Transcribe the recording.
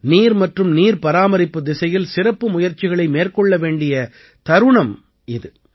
நீர் மற்றும் நீர் பராமரிப்புத் திசையில் சிறப்பு முயற்சிகளை மேற்கொள்ள வேண்டிய தருணம் இது